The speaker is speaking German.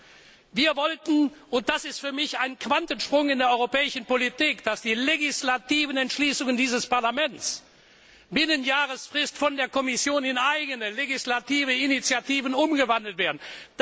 Das ist verankert worden. Wir wollten und das ist für mich ein Quantensprung in der europäischen Politik dass die legislativen Entschließungen dieses Parlaments binnen Jahresfrist von der Kommission in eigene legislative Initiativen umgewandelt werden.